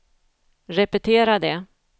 repetera det